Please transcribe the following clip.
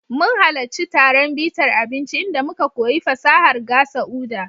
Mun halarci taron bitar abinci inda muka koyi fasahar gasa Uda.